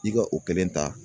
I ka o kelen ta